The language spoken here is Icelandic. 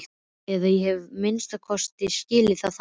Eða ég hef að minnsta kosti skilið það þannig.